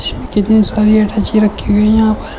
इसमें कितनी सारी अटैची रखी हुई हैं यहां पर।